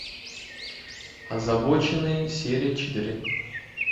озабоченные серия четыре